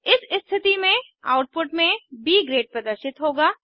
इस स्थिति में आउटपुट में ब ग्रेड प्रदर्शित होगा